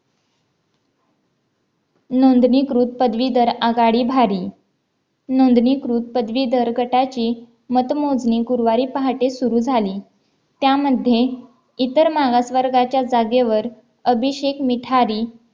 नोंदणीकृत पदवीधर आघाडी भारी नोंदणीकृत पदवीधर गटाचे मतमोजणी गुरुवारी पहाटे सुरू झाली त्यामध्ये इतर मागासवर्गाच्या जागेवर अभिषेक मिठारी